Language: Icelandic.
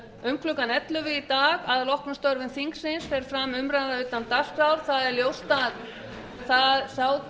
um klukkan ellefu í dag að loknum störfum þingsins fer fram umræða utan dagskrár það er ljóst að sá